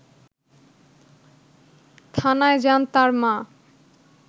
থানায় যান তার মা